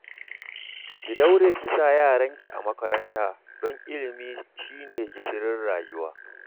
Ki daure ki sa yaranki a makaranta don ilimi shi ne gishirin rayuwa